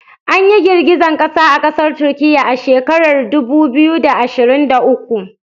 Anyi girgizan kasa a kasar Turkiya ah shekarar dubu biyu da ashirin da uku